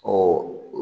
Ɔ